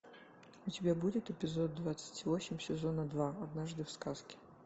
у тебя будет эпизод двадцать восемь сезона два однажды в сказке